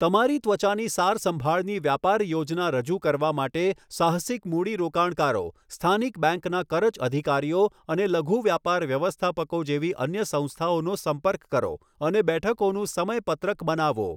તમારી ત્વચાની સારસંભાળની વ્યાપાર યોજના રજૂ કરવા માટે સાહસિક મૂડીરોકાણકારો, સ્થાનિક બેંકના કરજ અધિકારીઓ અને લઘુ વ્યાપાર વ્યવસ્થાપકો જેવી અન્ય સંસ્થાઓનો સંપર્ક કરો અને બેઠકોનું સમયપત્રક બનાવો.